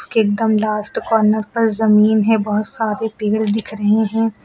एकदम last corner पर जमीन है बहुत सारे पेड़ दिख रहे हैं।